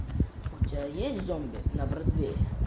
у тебя есть зомби на бродвее